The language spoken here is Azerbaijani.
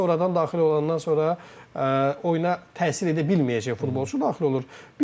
Bir də var sən oyuna sonradan daxil olandan sonra oyuna təsir edə bilməyəcək futbolçu daxil olur.